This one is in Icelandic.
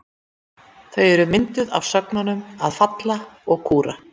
Þau eru mynduð af sögnunum að falla og kúra.